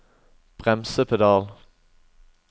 bremsepedal